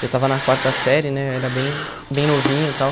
Eu tava na quarta série, né, eu era bem bem novinho e tal.